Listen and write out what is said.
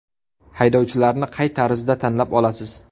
Haydovchilarni qay tarzda tanlab olasiz?